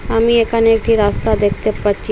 আমি এখানে একটি রাস্তা দেখতে পাচ্ছি।